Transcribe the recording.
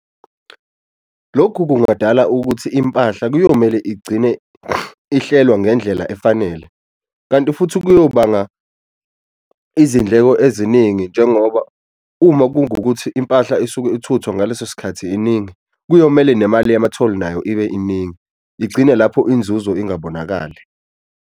Lokhu kungadala ukuthi impahla kuyomele igcine ihlelwa ngendlela efanele kanti futhi kuyobanga izindleko eziningi njengoba uma kungukuthi impahla isuke ithuthwa ngaleso sikhathi iningi kuyomele nemali yamatholi nayo ibe iningi, igcine lapho inzuzo ingabonakali.